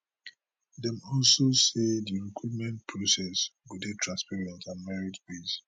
dem also say di recruitment process go dey transparent and mertibased